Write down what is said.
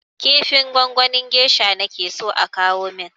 Kifin gwangwanin gesha nake so a kawo min!